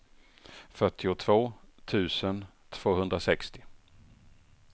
fyrtiotvå tusen tvåhundrasextio